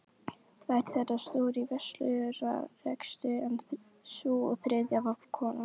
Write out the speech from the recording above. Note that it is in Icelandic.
Tvær þeirra stóðu í verslunarrekstri en sú þriðja var kona